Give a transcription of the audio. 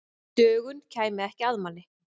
Dögun kæmi ekki að manni.